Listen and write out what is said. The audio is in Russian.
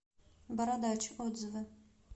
бородач отзывы